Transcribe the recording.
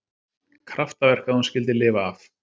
Kraftaverk að hún skyldi lifa af